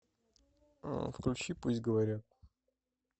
включи пусть говорят